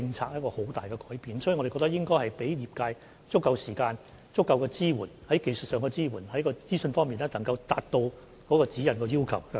所以，我們認為應該給予業界足夠時間，以及在技術上作出支援，提供相關資訊，以達致《指引》的要求。